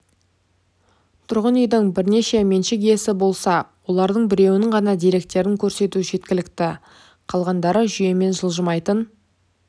тұрғын үйдің бірнеше меншік иесі болса олардың біреуінің ғана деректерін көрсету жеткілікті қалғандары жүйемен жылжымайтын